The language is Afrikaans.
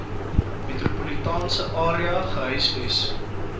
metropolitaanse area gehuisves